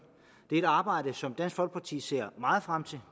det er et arbejde som dansk folkeparti ser meget frem til og